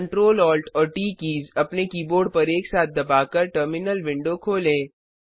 Ctrl Alt और T keys अपने keyboard पर एक साथ दबाकर टर्मिनल विंडो खोलें